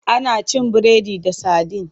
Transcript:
Ana cin biredi da sadin.